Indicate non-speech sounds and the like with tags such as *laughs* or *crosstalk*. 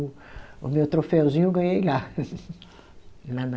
O o meu troféuzinho eu ganhei lá *laughs* lá na